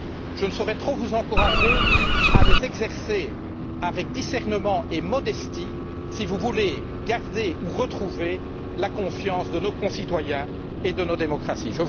Je ne saurai trop vous encourager à les exercer avec discernement et modestie, si vous voulez garder ou retrouver la confiance de nos concitoyens et de nos démocraties.